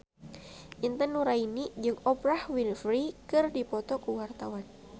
Intan Nuraini jeung Oprah Winfrey keur dipoto ku wartawan